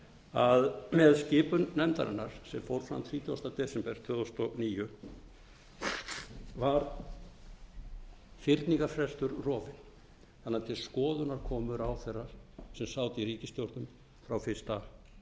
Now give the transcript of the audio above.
að með skipun nefndarinnar sem fór fram þrítugasti desember tvö þúsund og níu var fyrningarfrestur rofinn þannig að til skoðunar komu ráðherrar sem sátu í ríkisstjórninni frá fyrsta